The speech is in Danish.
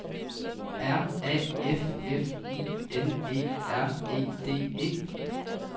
R A F F I N E R E D E